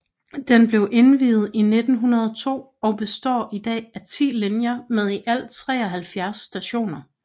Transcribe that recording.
Den blev indviet i 1902 og består i dag af 10 linjer med i alt 173 stationer